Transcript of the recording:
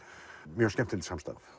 mjög skemmtilegt samstarf